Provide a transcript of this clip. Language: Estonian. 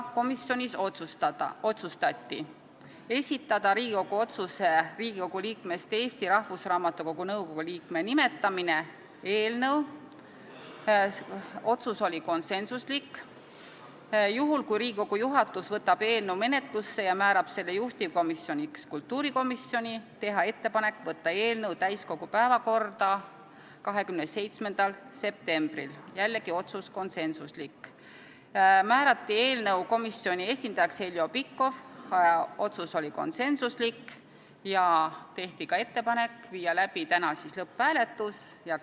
Komisjonis otsustati esitada Riigikogu otsuse "Riigikogu liikmest Eesti Rahvusraamatukogu nõukogu liikme nimetamine" eelnõu ning juhul, kui Riigikogu juhatus võtab eelnõu menetlusse ja määrab selle juhtivkomisjoniks kultuurikomisjoni, teha ettepanek võtta eelnõu täiskogu päevakorda 27. septembriks , määrata eelnõu komisjoni esindajaks Heljo Pikhof ja teha ettepanek panna eelnõu lõpphääletusele .